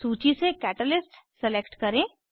सूची से catalyst select करें